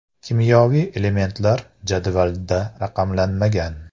Kimyoviy elementlar jadvalda raqamlanmagan.